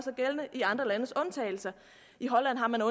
de andre landes undtagelser i holland har man